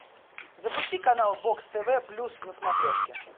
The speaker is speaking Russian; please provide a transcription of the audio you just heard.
запусти канал бокс тв плюс на смотрешке